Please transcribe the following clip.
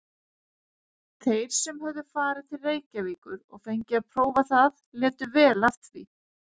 Þeir sem höfðu farið til Reykjavíkur og fengið að prófa það létu vel af því.